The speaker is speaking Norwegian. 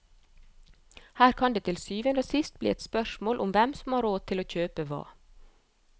Her kan det til syvende og sist bli et spørsmål om hvem som har råd til å kjøpe hva.